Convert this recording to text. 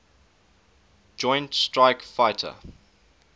joint strike fighter